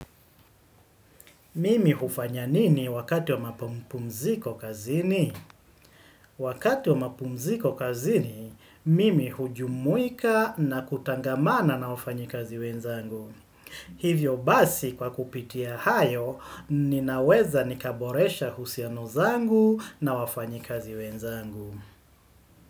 Mimi hufanya nini wakati wa mapumziko kazini? Wakati wa mapumziko kazini, mimi hujumuika na kutangamana na wafanyi kazi wenzangu. Hivyo basi kwa kupitia hayo, ninaweza nikaboresha husiano zangu na wafanyikazi wenzangu.